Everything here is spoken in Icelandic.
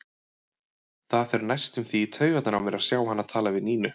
Það fer næstum því í taugarnar á mér að sjá hana tala við Nínu.